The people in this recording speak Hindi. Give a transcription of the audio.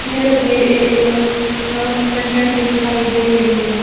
ये तस्वीर एक अं रेस्टोरेंट की दिखाई दे रही है।